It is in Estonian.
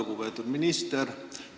Lugupeetud minister!